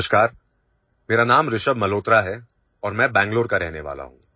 नमस्कार मेरा नाम ऋषभ मल्होत्रा है और मैं बेंगलुरु का रहने वाला हूं